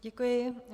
Děkuji.